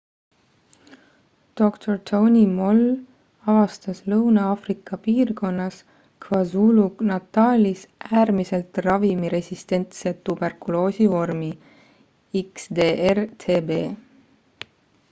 dr tony moll avastas lõuna-aafrika piirkonnas kwazulu-natalis äärmiselt ravimiresistentse tuberkuloosi vormi xdr-tb